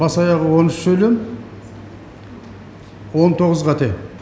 бас аяғы он үш сөйлем он тоғыз қате